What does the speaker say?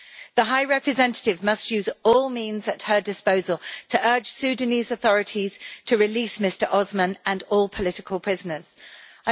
The High Representative must use all means at her disposal to urge the Sudanese authorities to release Mr Osman and all political prisoners.